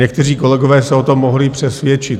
Někteří kolegové se o tom mohli přesvědčit.